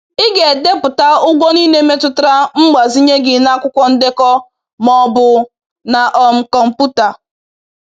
“Ị ga-edepụta ụgwọ niile metụtara mgbazinye gị n’akwụkwọ ndekọ ma ọ bụ na um kọmpụta.